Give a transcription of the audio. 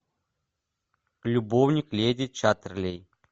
любовник леди чаттерлей